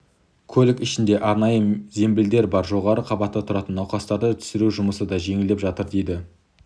көлік ішінде арнайы зембілдер бар жоғары қабатта тұратын науқастарды түсіру жұмысы да жеңілдеп жатыр дейді